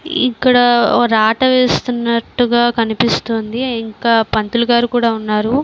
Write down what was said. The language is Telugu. ఇక్కడ రాట వేస్తునట్టుగా కనిపిస్తుంది. ఇంకా పంతులు గారు కూడా ఉన్నారు.